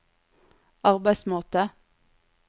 arbeidsmåte